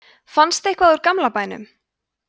fannst eitthvað úr gamla bænum